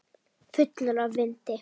Fullur af vindi.